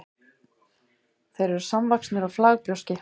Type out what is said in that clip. þeir voru samvaxnir á flagbrjóski